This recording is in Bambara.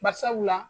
Barisabula